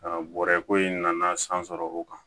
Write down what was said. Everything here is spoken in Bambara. bɔrɛ ko in nana san sɔrɔ o kan